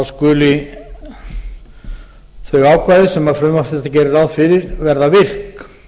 skuli þau ákvæði sem frumvarp þetta gerir ráð fyrir verða virk